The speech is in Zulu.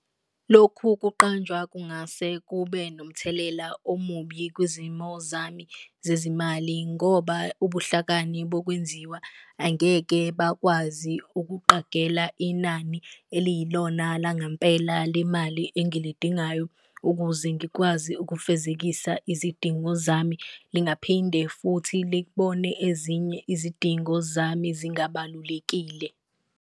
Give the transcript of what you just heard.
Lokhu kuqanjwa kungase kube nomthelela omubi kwizimo zami zezimali ngoba ubuhlakani bokwenziwa, angeke bakwazi ukuqagela inani eliyilona la ngampela le mali engilidingayo ukuze ngikwazi ukufezekisa izidingo zami. Lingaphinde futhi likubone ezinye izidingo zami zingabalulekile.